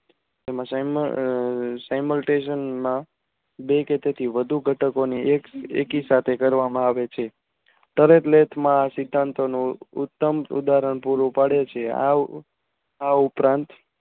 જેમાં સાયમાટેસન માં બે કે તેહિ વધુ ઘટકોને એકી સાથે કરવામાં આવે છે તરત સિદ્ધાંતોનો ઉત્તમ ઉદાહરણ પૂરું પડે છે આ ઉપરાંત